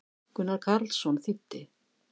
Gunnar Karlsson þýddi.